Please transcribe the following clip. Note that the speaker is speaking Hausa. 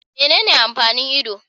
Menene amfanin Ido